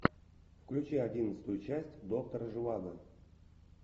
включи одиннадцатую часть доктора живаго